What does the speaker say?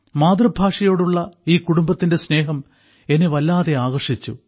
മാതൃഭാഷയോടുള്ള ഈ കുടുംബത്തിന്റെ സ്നേഹം എന്നെ വല്ലാതെ ആകർഷിച്ചു